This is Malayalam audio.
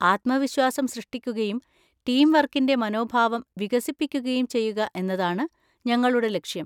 ആത്മവിശ്വാസം സൃഷ്ടിക്കുകയും ടീം വർക്കിന്‍റെ മനോഭാവം വികസിപ്പിക്കുകയും ചെയ്യുക എന്നതാണ് ഞങ്ങളുടെ ലക്ഷ്യം.